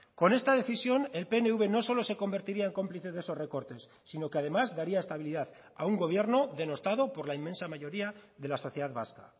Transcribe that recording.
con esta decisión el pnv no solo se convertiría en cómplice de esos recortes sino que además daría estabilidad a un gobierno denostado por la inmensa mayoría de la sociedad vasca